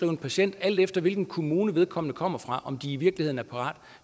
en patient alt efter hvilken kommune vedkommende kommer fra om de i virkeligheden er parate